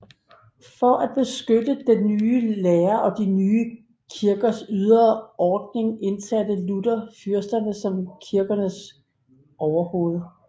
For at beskytte den nye lære og de nye kirkers ydre ordning indsatte Luther fyrsterne som kirkernes overhoved